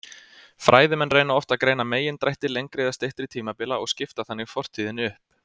Fræðimenn reyna oft að greina megindrætti lengri eða styttri tímabila og skipta þannig fortíðinni upp.